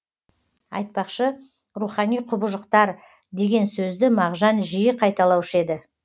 айтпақшы рухани құбыжықтар деген сөзді мағжан жиі қайталаушы еді